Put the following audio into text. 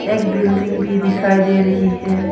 एक बिल्डिंग भी दिखाई दे रही है।